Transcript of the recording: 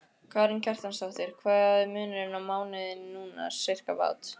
Karen Kjartansdóttir: Hvað er munurinn á mánuði núna, sirkabát?